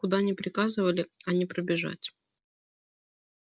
куда ни приказывали а не пробежать